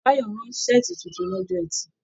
Báyọ̀ rán saati títún lọ́jọ́ ẹtì.